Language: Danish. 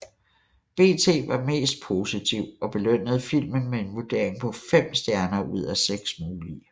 BT var mest positiv og belønnede filmen med en vurdering på 5 stjerner ud af 6 mulige